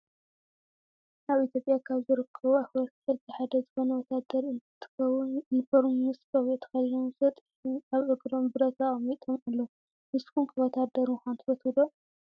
ኣብ ኢትዮጵያ ካብ ዝርከቡ ኣክበርቲ ሕጊ ሓደ ዝኮነ ወታደር እንትከውን ዩኒፎርም ምስ ቆቢዑ ተከዲኖም ሰጥ ኢሎም ኣብ እግሮም ብረት ኣቅሚጦም ኣለው። ንስኩም ከ ወታደር ምኳን ትፈትው ዶ?